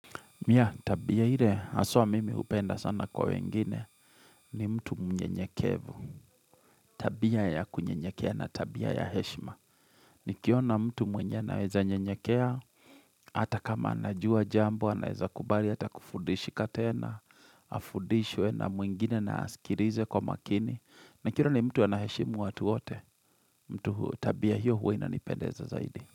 Mia tabia ile haswa mimi hupenda sana kwa wengine ni mtu mnyenyekevu. Tabia ya kunyenyekea na tabia ya heshima. Nikiona mtu mwenye anaweza nyenyekea. Hata kama anajua jambo anaeza kubali hata kufudishika tena. Afudishwe na mwingine na asikirize kwa makini. Na kira ni mtu anaheshimu watu wote. Mtu tabia hiyo huwa inapendeza zaidi.